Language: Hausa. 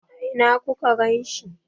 A ina ku ka ganshi?